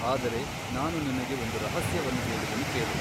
ಆದರೆ ನಾನು ನಿನಗೆ ಒಂದು ರಹಸ್ಯವನ್ನು ಹೇಳುವೆನು ಕೇಳು.